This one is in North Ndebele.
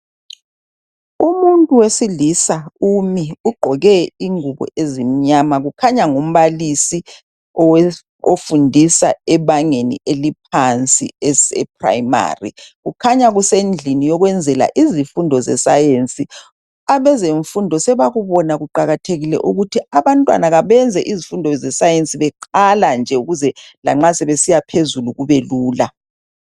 Umuntu wesilisa umi. Ugqoke ingubo ezimnyama. Kukhanya ngumbalisi owe, ofundisa ebangeni eliphansi eprimary. Kukhanya kusendlini yokwenzela izifundo zeScience. Abezemfundo sebakubona kuqakathekile ukuthi abantwana kabenze izifundo zeScience, beqala nje. Ukuze lanxa sebesiya phezulu kube lula.